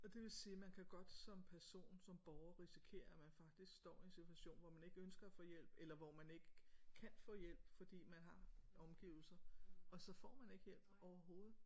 Og det vil sige at man kan godt som person som borger risikere at man faktisk står i en situation hvor man ikke ønsker at få hjælp eller hvor man ikke kan få hjælp fordi man har omgivelser og så får man ikke hjælp overhovedet